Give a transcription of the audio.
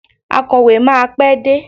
Akọ̀wé máa pé dé.